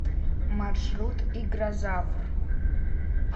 маршрут игрозавр